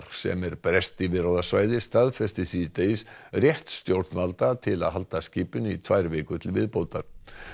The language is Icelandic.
sem er breskt yfirráðasvæði staðfesti síðdegis rétt stjórnvalda til að halda skipinu í tvær vikur til viðbótar